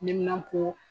Niminapo